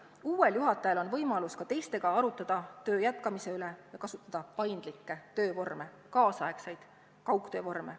Uuel juhatajal on võimalus ka teistega arutada töö jätkamise üle ja kasutada paindlikke töövorme, tänapäevaseid kaugtöövorme.